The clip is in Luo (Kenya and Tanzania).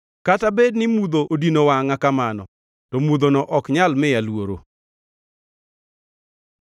Kata bed ni mudho odino wangʼa kamano, to mudhono ok nyal miya luoro.